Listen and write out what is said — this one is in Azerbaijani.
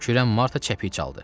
Kürən Marta cəpik çaldı.